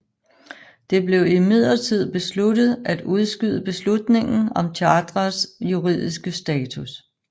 Det blev imidlertid besluttet at udskyde beslutningen om Chartrets juridiske status